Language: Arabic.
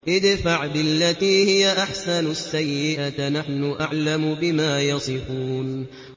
ادْفَعْ بِالَّتِي هِيَ أَحْسَنُ السَّيِّئَةَ ۚ نَحْنُ أَعْلَمُ بِمَا يَصِفُونَ